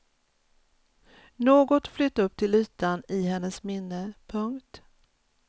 Något flöt upp till ytan i hennes minne. punkt